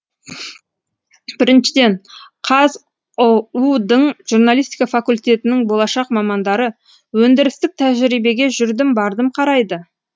біріншіден қазұу дың журналистика факультетінің болашақ мамандары өндірістік тәжерибеге жүрдім бардым қарайды